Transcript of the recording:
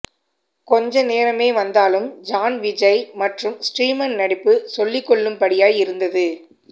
கொஞ்சநேரமே வந்தாலும் ஜான் விஜய் மற்றும் ஸ்ரீமன் நடிப்பு சொல்லிக்கொள்ளும் படியாய் இருந்தது